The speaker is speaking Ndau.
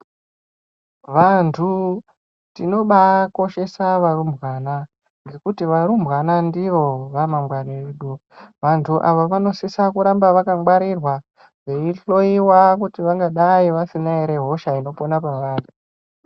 Vantu tinobakoshesa varumbwana ngekuti varumbwana ndiro remangwani redu. Vantu ava vanosisa kuramba vakangwarirwa, veihloyiwa kuti vangadai vasina hosha ere inopona pavari.